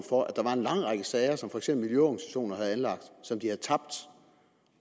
for at der var en lang række sager som for eksempel miljøorganisationer havde anlagt som de havde tabt